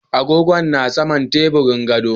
Agogon ya na saman teburin gefen gado.